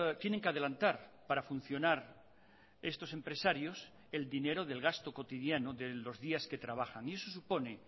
tienen que adelantar para funcionar estos empresarios el dinero del gasto cotidiano de los días que trabajan y eso supone